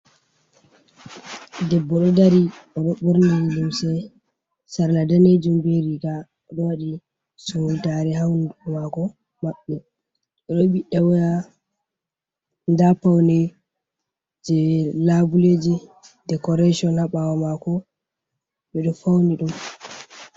Ɗeɓɓo, Ɗo Ɗari Ɓo'oɗo Ɓorni Lumse Sarla Ɗanejum, Ɓe Riga Oɗo Waɗi Sumɗare Ha Hunɗuko mako. Maɓɓe O'ɗo Ɓiɗɗata Waya Ɗa Paune Je Laɓuleji Ɗecoration Ha Ɓawo Mako Ɓe Ɗo Fauni Ɗum.